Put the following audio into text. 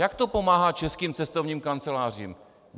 Jak to pomáhá českým cestovním kancelářím?